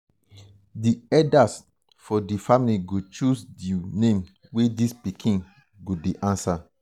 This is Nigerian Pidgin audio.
di eldas for di family go choose um di name wey dis pikin um go dey um answer.